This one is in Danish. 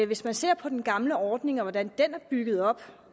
hvis man ser på den gamle ordning og på hvordan den er bygget op